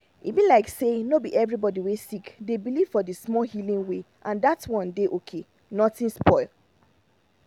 e be like say no be everybody wey sick dey believe for di same healing way and and dat one dey okay nothing spoil.